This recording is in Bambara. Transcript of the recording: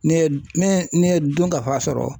N'e ye n'e ye n'e ye dunkafa sɔrɔ